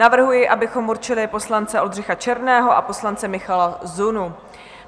Navrhuji, abychom určili poslance Oldřicha Černého a poslance Michala Zunu.